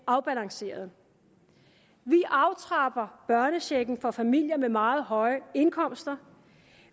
afbalanceret vi aftrapper børnechecken for familier med meget høje indkomster